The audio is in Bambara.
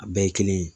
A bɛɛ ye kelen ye